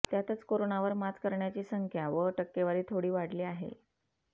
त्यातच कोरोनावर मात करणाऱ्यांची संख्या व टक्केवारी थोडी वाढली आहे